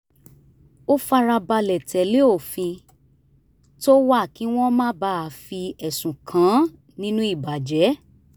ó fara balẹ̀ tẹ̀lé òfin tó wà kí wọ́n má bàa fi ẹ̀sùn kàn án nínú ìbàjẹ́